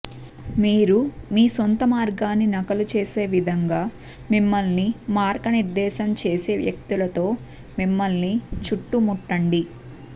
మీరు మీ సొంత మార్గాన్ని నకలు చేసే విధంగా మిమ్మల్ని మార్గనిర్దేశం చేసే వ్యక్తులతో మిమ్మల్ని చుట్టుముట్టండి